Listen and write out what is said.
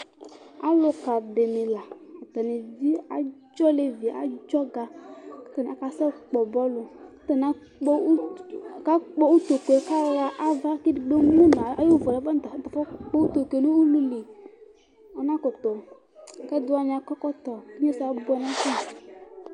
Aluka dini la, atani evi adz'olevi, adzɔga k'atani ak k'asɛ kpɔ bɔlu k'atani akpɔ ut k'akpɔ utokue ku ɣa ava k'edigbo emu nu ay'uvuɛ ta fu kpu utokue n'ulu lɩ, ɔna kutu, k'ɛdi wani akɔ ɛkɔtɔ inyesɛ abuɛ nafa